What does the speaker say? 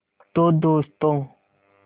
तो दोस्तों